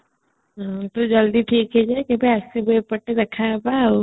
ତୁ ଜଲ୍ଦି ଠିକ ହେଇଜା କେବେ ଆସିବୁ ଏପଟେ ଦେଖା ହବା ଆଉ